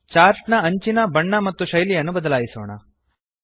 chart ನ ಅಂಚಿನ ನ ಬಣ್ಣ ಮತ್ತು ಶೈಲಿಯನ್ನು ಬದಲಾಯಿಸೋಣ